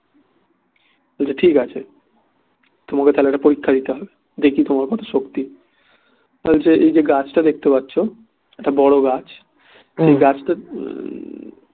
ঠিক আছে তা হলে তোমাকে একটা পরীক্ষা দিতে হবে দেখি তোমার কত শক্তি বলছে এই যে গাছটা দেখতে পাচ্ছ একটা বড় গাছ এই গাছটা